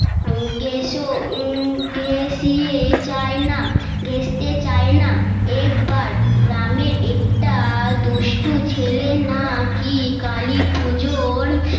ঘেঁষিয়ে চায় না ঘেষতে চায় না একবার গ্রামের একটা দুষ্ট ছেলে নাকি কালী পজোর